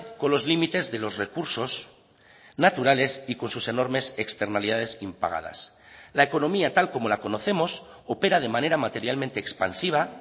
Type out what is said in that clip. con los límites de los recursos naturales y con sus enormes externalidades impagadas la economía tal como la conocemos opera de manera materialmente expansiva